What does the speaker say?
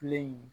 Kile in